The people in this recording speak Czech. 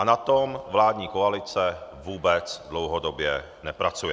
A na tom vládní koalice vůbec dlouhodobě nepracuje.